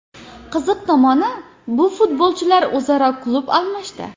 Qiziq tomoni, bu futbolchilar o‘zaro klub almashdi.